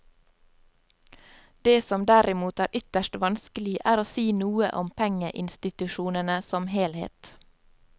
Det som derimot er ytterst vanskelig, er å si noe om pengeinstitusjonene som helhet.